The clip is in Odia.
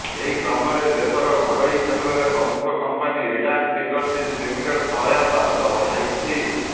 ଏହି କ୍ରମରେ ଦେଶର ଘରୋଇ କ୍ଷେତ୍ରର ପ୍ରମୁଖ କମ୍ପାନୀ ରିଲାଏନ୍ସ ଇଣ୍ଡଷ୍ଟ୍ରିଜ୍ ଲିମିଟେଡ୍ ସହାୟତାର ହାତ ବଢାଇଛି